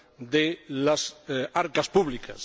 de las arcas públicas.